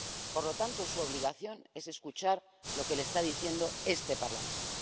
Por lo tanto, su obligación es escuchar lo que le está diciendo este Parlamento.